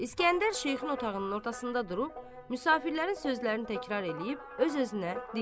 İsgəndər şeyxin otağının ortasında durub, müsafirlərin sözlərini təkrar eləyib, öz-özünə deyir.